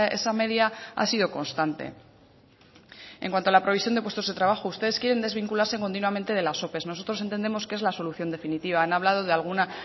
esa media ha sido constante en cuanto a la previsión de puestos de trabajo ustedes quieren desvincularse continuamente de las ope nosotros entendemos que es la solución definitiva han hablado de alguna